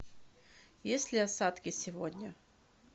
есть ли осадки сегодня